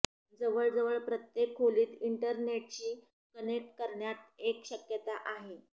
जवळजवळ प्रत्येक खोलीत इंटरनेटशी कनेक्ट करण्यात एक शक्यता आहे